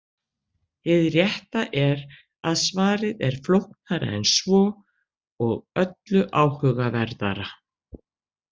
Hið rétta er að svarið er flóknara en svo og öllu áhugaverðara.